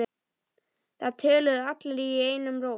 Það töluðu allir einum rómi.